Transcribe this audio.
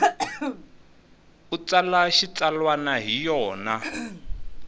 u tsala xitsalwana hi yona